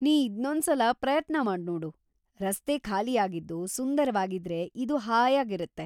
ನೀನ್‌ ಇದ್ನೊಂದ್ಸಲ ಪ್ರಯತ್ನ ಮಾಡ್ನೋಡು; ರಸ್ತೆ ಖಾಲಿಯಾಗಿದ್ದು ಸುಂದರವಾಗಿದ್ರೆ ಇದು ಹಾಯಾಗಿರತ್ತೆ.